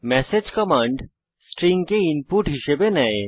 message command string কে input হিসাবে নেয়